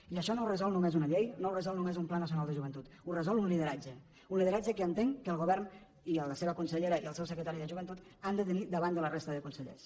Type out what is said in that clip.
i això no ho resol no més una llei no ho resol només un pla nacional de joventut ho resol un lideratge un lideratge que entenc que el govern i la seva consellera i el seu secretari de joventut han de tenir davant de la resta de consellers